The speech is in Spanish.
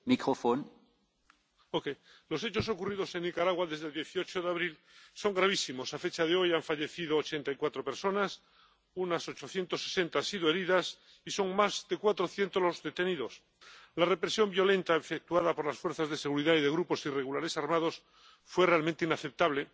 Señor presidente, los hechos ocurridos en Nicaragua desde el 18 de abril son gravísimos. A fecha de hoy, han fallecido 84 personas, unas 860 han sido heridas y son más de 400 los detenidos. La represión violenta efectuada por las fuerzas de seguridad y por grupos irregulares armados fue realmente inaceptable.